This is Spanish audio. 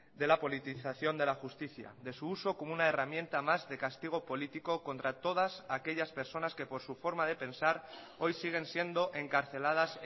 de la politización de la justicia de su uso como una herramienta más de castigo político contra todas aquellas personas que por su forma de pensar hoy siguen siendo encarceladas